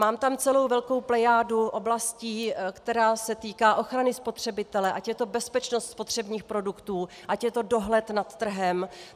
Mám tam celou velkou plejádu oblastí, která se týká ochrany spotřebitele, ať je to bezpečnost spotřebních produktů, ať je to dohled nad trhem.